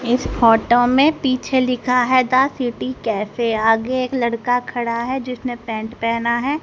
इस फोटो में पीछे लिखा है द सिटी कैफे आगे एक लड़का खड़ा है जिसने पैंट पहना है।